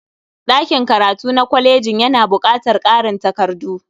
Ɗakin karatu na kolejin yana baƙatar ƙarin takardu.